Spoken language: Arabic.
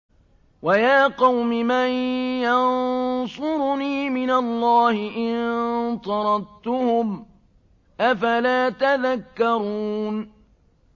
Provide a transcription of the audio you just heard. وَيَا قَوْمِ مَن يَنصُرُنِي مِنَ اللَّهِ إِن طَرَدتُّهُمْ ۚ أَفَلَا تَذَكَّرُونَ